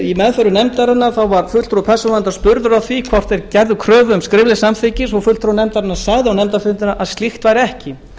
í meðförum nefndarinnar var fulltrúi persónuverndar spurður hvort þeir gerðu kröfu um skriflegt samþykki svo að fulltrúi nefndarinnar sagði á nefndarfundi að svo væri ekki